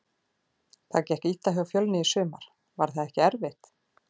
Það gekk illa hjá Fjölni í sumar, var það ekki erfitt?